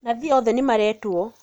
Nathi othe nĩmaretwo